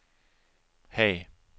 Haag